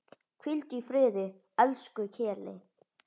Hvíldu í friði, elsku Keli.